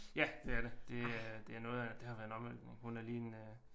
Ja det er det det er det er noget af det har været noget af en omvæltning hun er lige en øh